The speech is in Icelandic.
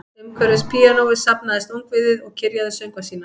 Umhverfis píanóið safnaðist ungviðið og kyrjaði söngva sína